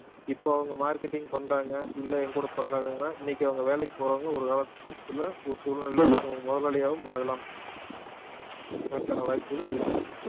இப்போ அவங்க marketing பண்றாங்க இல்லை என் கூட பண்ணாங்கன்னா இன்னைக்கு அவங்க வேலைக்கு போறவங்க ஒரு காலத்திலே ஒரு சூழ்நிலையிலே மு~ முதலாளியாகவும் ஆகலாம் அதற்கான வாய்ப்புகளும் இருக்குது